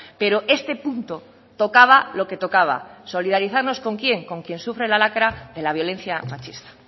pero este punto tocaba lo que tocaba solidarizarnos con quién con quien sufre la lacra de la violencia machista